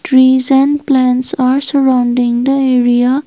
Trees and plants are surrounding the area.